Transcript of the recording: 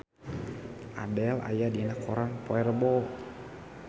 Adele aya dina koran poe Rebo